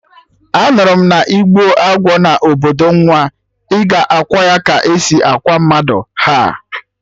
Anụrụ m na-igbuo agwọ na obodo nwa, ị ga akwa ya ka esi akwa mmadụ, ha!